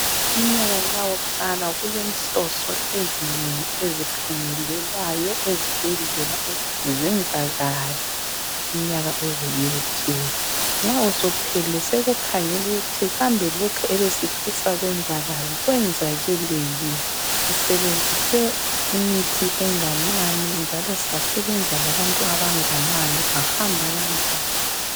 Umnyaka nxa uqala kulenhloso ezinengi ezikhangelelwayo ezibhedlela ukuthi zenzakale umnyaka uze uyephela. Nxa usuphelile sekukhangelwa ukuthi kambe lokhu ebesifisa kwenzakale kwenzakele yini , sisebenzise imithi enganani njalo sasebenza labantu abangani kwahamba kanjani.